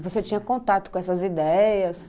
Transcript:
E você tinha contato com essas ideias?